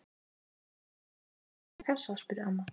Kann kisa þín ekki að pissa í kassa? spurði amma.